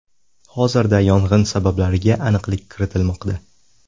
Hozirda yong‘in sabablariga aniqlik kiritilmoqda.